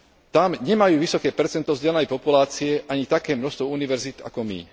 Tam nemajú vysoké percento vzdelanej populácie ani také množstvo univerzít ako my.